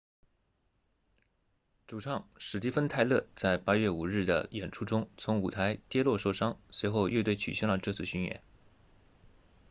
主唱史蒂芬泰勒在8月5日的演出中从舞台跌落受伤随后乐队取消了这次巡演